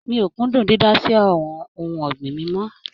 Mi ò kúndùn dídá sí àwọn ohun ọ̀gbìn mi mọ́.